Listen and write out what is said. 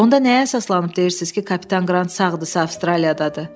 Onda nəyə əsaslanıb deyirsiz ki, kapitan Qrant sağdırsa Avstraliyadadır?